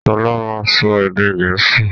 Sọlá máa n sọ èdè gẹ̀ẹ́sì